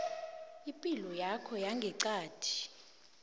ipilo yakho yangeqadi